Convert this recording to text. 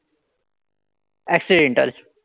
Accidental.